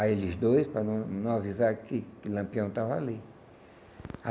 a eles dois para não não avisar que que Lampião estava ali.